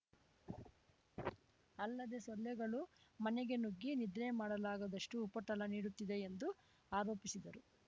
ಅಲ್ಲದೆ ಸೊಳ್ಳೆಗಳು ಮನೆಗೆ ನುಗ್ಗಿ ನಿದ್ರೆ ಮಾಡಲಾಗದಷ್ಟು ಉಪಟಳ ನೀಡುತ್ತಿದೆ ಎಂದು ಆರೋಪಿಸಿದರು